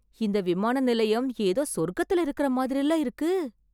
இந்த விமான நிலையம் எதோ சொர்க்கத்துல இருக்கற மாதிரில இருக்கு.